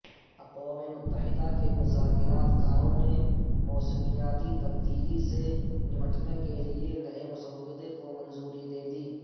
اقوام متحدہ کے مذاکرات کاروں نے موسمیاتی تبدیلی سے نمٹنے کیلئے نئے مسودہ کودی منظوری